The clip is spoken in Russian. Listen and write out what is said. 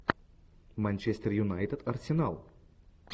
манчестер юнайтед арсенал